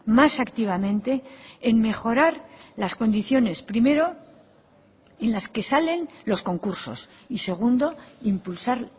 más activamente en mejorar las condiciones primero en las que salen los concursos y segundo impulsar